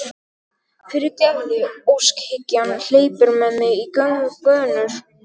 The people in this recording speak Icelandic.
Fyrirgefðu, óskhyggjan hleypur með mig í gönur.